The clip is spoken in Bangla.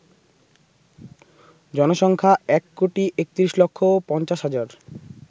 জনসংখ্যা ১৩১৫০০০০